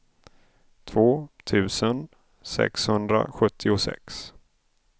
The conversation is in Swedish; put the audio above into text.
två tusen sexhundrasjuttiosex